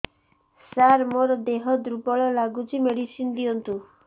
ସାର ମୋର ଦେହ ଦୁର୍ବଳ ଲାଗୁଚି ମେଡିସିନ ଦିଅନ୍ତୁ